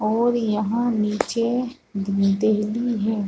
और यहाँ निचे हैं ।